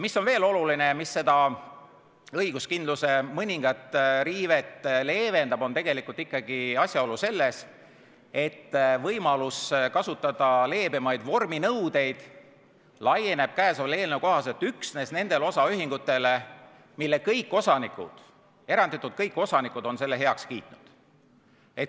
Mis on veel oluline ja mis seda õiguskindluse mõningat riivet leevendab, see on ikkagi asjaolu, et võimalus kasutada leebemaid vorminõudeid laieneb käesoleva eelnõu kohaselt üksnes nendele osaühingutele, mille kõik osanikud, eranditult kõik osanikud, on selle heaks kiitnud.